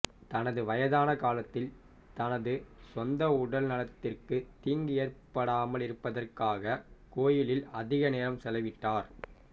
தனது வயதான காலத்தில் தனது சொந்த உடல்நலத்திற்கு தீங்கு ஏற்படாமலிருப்பதற்காக கோயிலில் அதிக நேரம் செலவிட்டார்